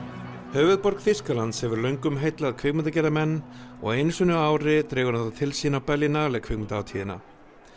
höfuðborg Þýskalands hefur löngum heillað kvikmyndagerðarmenn og einu sinni á ári dregur hún þá til sín á kvikmyndahátíðina